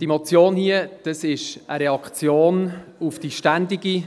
Diese Motion hier ist eine Reaktion auf die ständige